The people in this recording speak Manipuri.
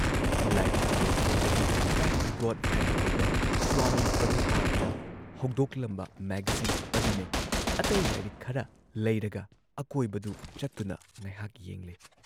ꯂꯥꯏꯔꯤꯛ ꯌꯣꯟꯐꯝꯗꯒꯤ ꯕꯦꯛ ꯇꯨ ꯒꯣꯗ ꯍꯦꯗ ꯀꯧꯕ ꯁ꯭ꯋꯥꯃꯤ ꯄ꯭ꯔꯚꯨꯄꯥꯗꯅ ꯍꯧꯗꯣꯛꯂꯝꯕ ꯃꯦꯒꯥꯖꯤꯟ ꯑꯗꯨꯅꯦ ꯑꯇꯩ ꯂꯥꯏꯔꯤꯛ ꯈꯔ ꯂꯩꯔꯒ ꯑꯀꯣꯏꯕꯗꯨ ꯆꯠꯇꯨꯅ ꯉꯩꯍꯥꯛ ꯌꯦꯡꯂꯦ꯫